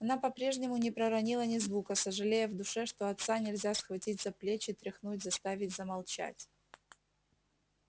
она по-прежнему не проронила ни звука сожалея в душе что отца нельзя схватить за плечи тряхнуть заставить замолчать